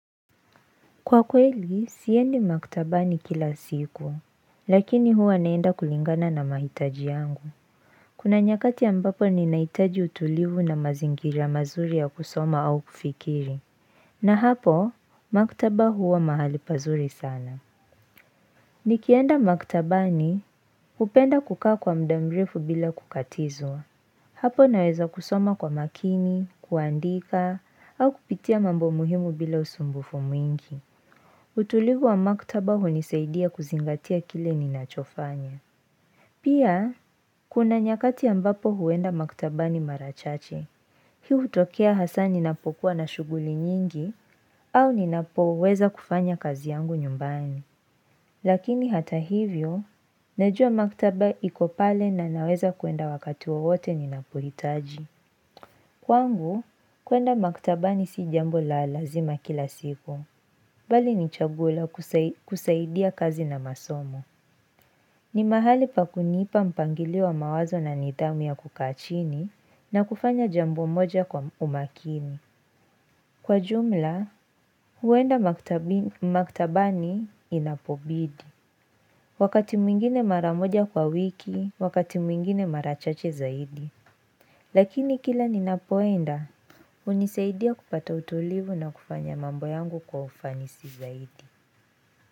Kwa kweli, siendi maktaba ni kila siku, lakini huwa naenda kulingana na mahitaji yangu. Kuna nyakati ambapo ni naitaji utulivu na mazingira mazuri ya kusoma au kufikiri. Na hapo, maktaba huwa mahali pazuri sana. Nikienda maktaba ni hupenda kukaa kwa mda mrefu bila kukatizwa. Hapo naweza kusoma kwa makini, kuandika, au kupitia mambo muhimu bila usumbufu mwingi. Utulivu wa maktaba hunisaidia kuzingatia kile ninachofanya. Pia, kuna nyakati ambapo huenda maktaba ni marachache. Hii hutokea hasa ninapokuwa na shuguli nyingi au ninapoweza kufanya kazi yangu nyumbani. Lakini hata hivyo, najua maktaba iko pale na naweza kuenda wakati wowote ni napohitaji. Kwangu, kuenda maktaba si jambo la lazima kila siku, bali ni chaguo la kusaidia kazi na masomo. Ni mahali pa kunipa mpangiliwa mawazo na nitamia kukachini na kufanya jambo moja kwa umakini. Kwa jumla, huenda maktabani inapobidi. Wakati mwingine maramoja kwa wiki, wakati mwingine marachache zaidi. Lakini kila ninapoenda, unisaidia kupata utulivu na kufanya mambo yangu kwa ufanisi zaidi.